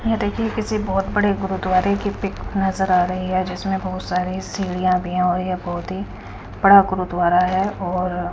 यह देखिए किसी बहोत बड़े गुरुद्वारे की पिक नजर आ रही है जिसमें बहुत सारे सीढ़ियां भी हो यह बहुत ही बड़ा गुरुद्वारा है और--